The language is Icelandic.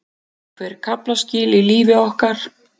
Einhver kaflaskil í lífi okkar.